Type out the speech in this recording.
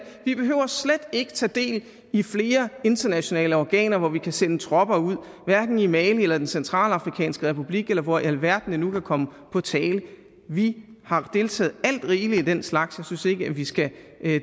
vi behøver slet ikke at tage del i flere internationale organer hvor vi kan sende tropper ud hverken i mali eller den centralafrikanske republik eller hvor i alverden det nu kan komme på tale vi har deltaget alt rigeligt i den slags jeg synes ikke vi skal